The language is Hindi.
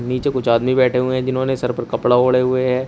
नीचे कुछ आदमी बैठे हुए जिन्होंने सर पर कपड़ा ओढ़े हुए है।